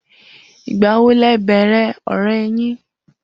Igbawo lẹ bẹẹrẹ ọrẹ yin?